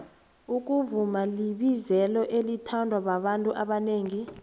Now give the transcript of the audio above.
ukuvuma libizelo elithandwababantu abonengi